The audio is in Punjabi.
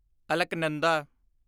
ਅਲਕਨੰਦਾ